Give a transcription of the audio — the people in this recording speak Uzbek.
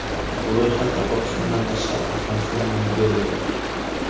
Bu ro‘yxatda, Pokistondan tashqari, Afg‘oniston va Nigeriya bor.